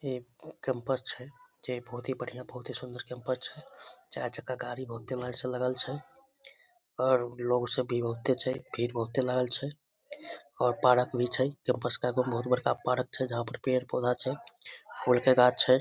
ये कैंपस छै ये बहुत ही बढ़िया बहुत ही सुन्दर कैंपस छै चार चक्का गाड़ी बहुत ही लाइन से लागल छै और लोग सब भी बहुते छै भीड़ बहुते लागल छै और पार्क भी छै कैंपस के आगे मे बहुत बड़का पार्क छै जहाँ पर पेड़ पौधा छै फूल के गाछ छै ।